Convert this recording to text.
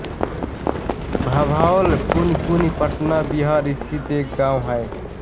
भभौल पुनपुन पटना बिहार स्थित एक गाँव है